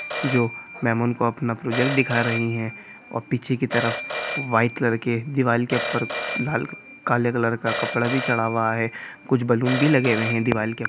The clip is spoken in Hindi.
जो माम उनको अपना प्रोजेक्ट दिखा रही हैं और पीछे की तरफ व्हाइट कलर के दिवाल के ऊपर लाल काले कलर का कपड़ा भी चढ़ना हुआ है कुछ बैलून भी लगे हुए हैं दिवाली के--